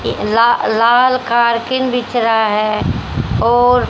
ला लाल कार्पिन बिछ रहा है और--